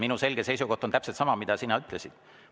Minu selge seisukoht on täpselt sama, mida sina ütlesid.